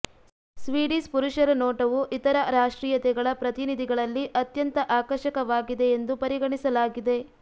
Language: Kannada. ಸ್ವೀಡಿಶ್ ಪುರುಷರ ನೋಟವು ಇತರ ರಾಷ್ಟ್ರೀಯತೆಗಳ ಪ್ರತಿನಿಧಿಗಳಲ್ಲಿ ಅತ್ಯಂತ ಆಕರ್ಷಕವಾಗಿದೆ ಎಂದು ಪರಿಗಣಿಸಲಾಗಿದೆ